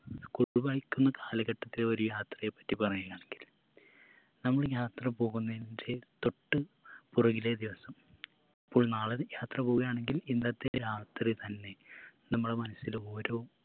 school പഠിക്കുന്ന കാലഘട്ടത്തിലെ ഒരു യാത്രയെ പറ്റി പറയുകയാണെങ്കിൽ നമ്മള് യാത്ര പോകുന്നേയിന്റെ തൊട്ട് പുറകിലെ ദിവസം ഇപ്പോൾ നാളെയൊരു യാത്ര പോവുകയാണെങ്കിൽ ഇന്നത്തെ രാത്രി തന്നെ നമ്മള മനസ്സിൽ ഓരോ